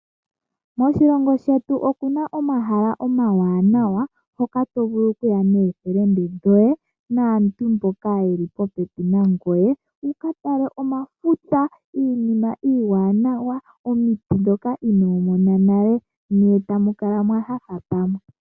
Moshilongo shetu omuna omahala omawanawa. Hoka to vulu oku ya noofelende dhoye naantu mboka yeli popepi nangoye. Wuka tale omafuta, iinima iwanawa, omiiti dhoka ino mona nale ne tamu kala mwanyanyukwa pamwe.